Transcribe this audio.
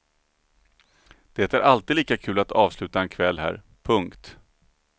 Det är alltid lika kul att avsluta en kväll här. punkt